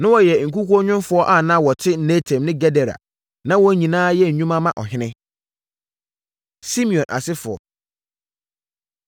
Na wɔyɛ nkukuonwomfoɔ a na wɔte Netaim ne Gedera. Na wɔn nyinaa yɛ nnwuma ma ɔhene. Simeon Asefoɔ